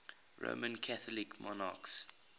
roman catholic monarchs